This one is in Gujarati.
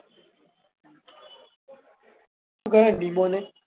શું કરે નીમોને?